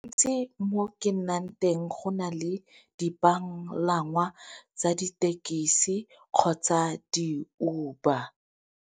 Ntsi mo ke nnang teng go na le dipalangwa tsa ditekisi kgotsa di-Uber.